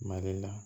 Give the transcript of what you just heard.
Mali la